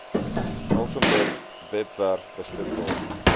elsenburg webwerf beskikbaar